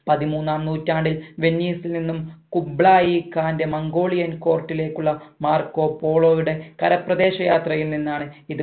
പതിമൂന്നാം നൂറ്റാണ്ടിൽ വെന്നീസിൽ നിന്നും കുബ്ലാ ഇ കണ്ടെയ്‌ മംഗോലിയൻ court ലേക്കുള്ള മാർക്കോ പോളോയുടെ കരപ്രദേശ യാത്രയിൽ നിന്നാണ് ഇത്